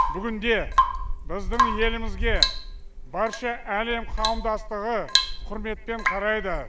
бүгінде біздің елімізге барша әлем қауымдастығы құрметпен қарайды